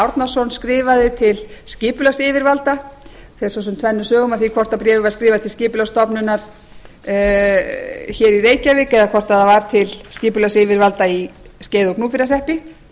árnason skrifaði til skipulagsyfirvalda það fer sem sagt tvennum sögum af því hvort bréfið var skrifað til skipulagsstofnunar í reykjavík eða hvort það var til skipulagsyfirvalda í skeiða og gnúpverjahreppi